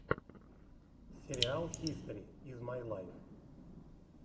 сериал хистори из май лайф